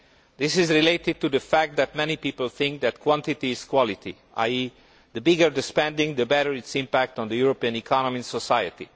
This is related to the fact that many people think that quantity is quality, namely, the bigger the spending, the better its impact on the European economy and society.